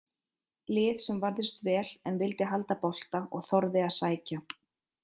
Lið sem varðist vel en vildi halda bolta og þorði að sækja.